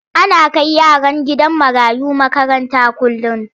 Ana kai yaran gidan marayu makaranta kullum.